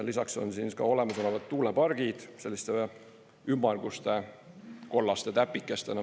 Lisaks on ka olemasolevad tuulepargid selliste ümmarguste kollaste täpikestena.